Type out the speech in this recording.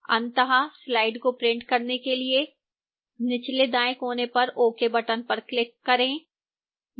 अंततः slides को print करने के लिए निचले दाएं कोने पर ok button पर click करें